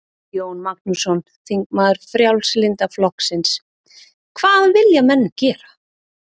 Jón Magnússon, þingmaður Frjálslynda flokksins: Hvað vilja menn gera?